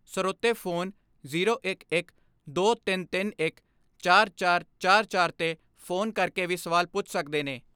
ਸਰੋਤੇ phone zero ਗਿਆਰਾਂ ਤੇਈ ਇਕੱਤੀ ਚਤਾਲੀ ਚਤਾਲੀ 'ਤੇ ਫੋਨ ਕਰਕੇ ਵੀ ਸਵਾਲ ਪੁੱਛ ਸਕਦੇ ਨੇ।